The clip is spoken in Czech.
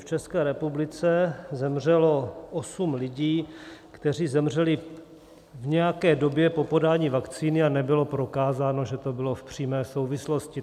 V České republice zemřelo 8 lidí, kteří zemřeli v nějaké době po podání vakcíny, a nebylo prokázáno, že to bylo v přímé souvislosti.